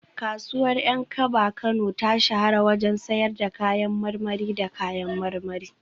Kasuwar Yankaba Kano ta shahara wajen sayar da kayan marmari da kayan marmari